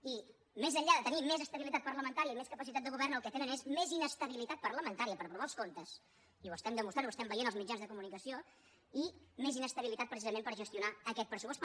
i més enllà de tenir més estabilitat parlamentària i més capacitat de govern el que tenen és més inestabilitat parlamentària per aprovar els comptes i ho estan demostrant i ho estem veient als mitjans de comunicació i més inestabilitat precisament per gestionar aquest pressupost